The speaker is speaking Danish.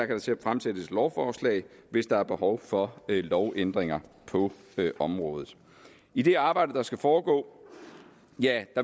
kan fremsættes lovforslag hvis der er behov for lovændringer på området i det arbejde der skal foregå